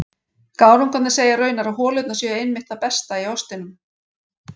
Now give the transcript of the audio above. Gárungarnir segja raunar að holurnar séu einmitt það besta í ostinum.